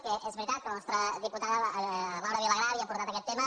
que és veritat que la nostra diputada laura vilagrà havia portat aquest tema